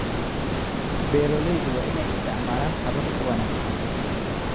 Beeralayda waa inay isticmaalaan habab ka wanaagsan